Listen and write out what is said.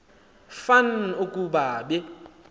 fan ukuba be